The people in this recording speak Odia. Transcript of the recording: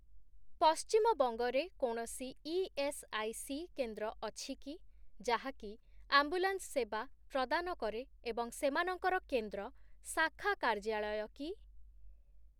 ପଶ୍ଚିମବଙ୍ଗରେ କୌଣସି ଇଏସ୍ଆଇସି କେନ୍ଦ୍ର ଅଛି କି ଯାହାକି ଆମ୍ବୁଲାନ୍ସ ସେବା ପ୍ରଦାନ କରେ ଏବଂ ସେମାନଙ୍କର କେନ୍ଦ୍ର 'ଶାଖା କାର୍ଯ୍ୟାଳୟ' କି?